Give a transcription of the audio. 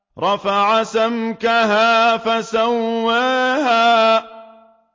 رَفَعَ سَمْكَهَا فَسَوَّاهَا